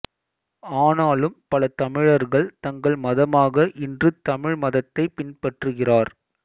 ஆனாலும் பல தமிழர்கள் தங்கள் மதமாக இன்று தமிழ் மதத்தை பின்பற்றுகிறார்